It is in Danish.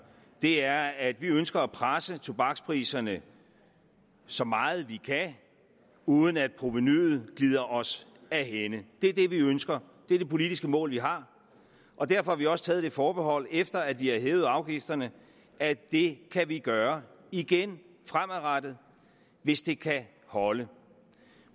er at vi ønsker at presse tobakspriserne så meget vi kan uden at provenuet glider os af hænde det er det vi ønsker det er det politiske mål vi har og derfor har vi også taget det forbehold efter at vi har hævet afgifterne at det kan vi gøre igen fremadrettet hvis det kan holde